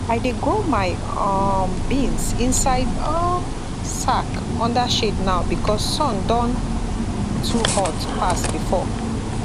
i dey grow my um beans inside um sack under shade now because sun don too hot pass before